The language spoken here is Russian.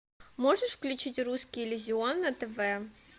можешь включить русский иллюзион на тв